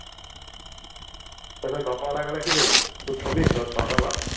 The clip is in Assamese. তাৰপাছত ঘৰৰ পৰা উলাই গলে কি কৰিবি তই থবি ততহঁতৰ ঘৰত